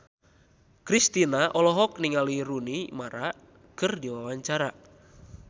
Kristina olohok ningali Rooney Mara keur diwawancara